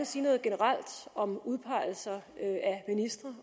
sige noget generelt om udpegelser af ministre